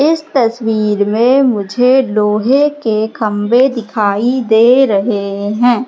इस तस्वीर में मुझे लोहे के खंबे दिखाई दे रहे है।